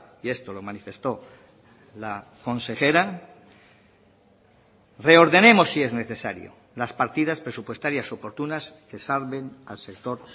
y esto lo manifestó la consejera reordenemos si es necesario las partidas presupuestarias oportunas que salven al sector